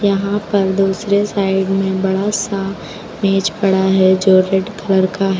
यहां पर दूसरे साइड में बड़ा सा मेज पड़ा है जो रेड कलर का है।